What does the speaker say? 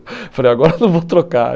Eu falei, agora eu não vou trocar.